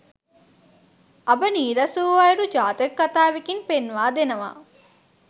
අඹ නීරස වූ අයුරු ජාතක කථාවෙකින් පෙන්වා දෙනවා.